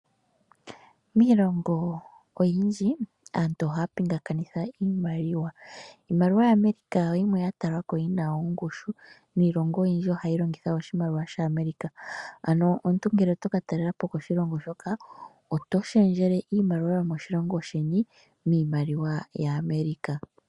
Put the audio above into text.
Miilonga oyindji aantu ohaa pingakanitha iimaliwa, iimaliwa yaAmerica oyo yimwe yatalikako yina ongushu yivule iimaliwa iikwawo, niilongo oyindji oha yi longitha iimaliwa yaAmerica, ano omuntu ngele otokatalelapo koshilongo hoka otoshendjele iimaliwa yomoshilongo sheni miimaliwa yaAmerica.